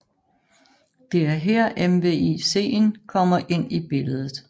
Det er her MVICen kommer ind i billedet